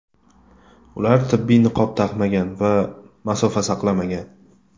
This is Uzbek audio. Ular tibbiy niqob taqmagan va masofa saqlamagan.